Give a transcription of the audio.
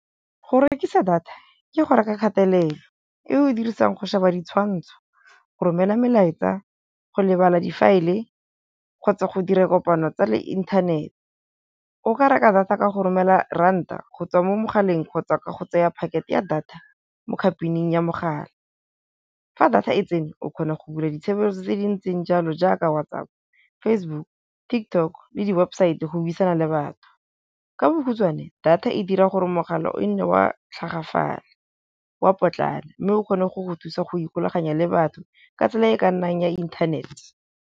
Go rekisa data ke go reka kgatelelo e o dirisang go sheba ditshwantsho, go romela melaetsa, go lebala difaele kgotsa go dira kopano tsa le inthanete. O ka reka data ka go romela ranta go tswa mo mogaleng kgotsa ka go tseya packet-e ya data mo company-ing ya mogala, fa data e tsene o kgona go bula ditshebeletso tse dintseng jalo jaaka WhatsApp, Facebook, Tiktok le di-website go buisana le batho. Ka bokgutswane data e dira gore mogala o e nne wa tlhagafala, wa potlana mme o kgone go go thusa go ikgulaganya le batho ka tsela e ka nnang ya inthanete.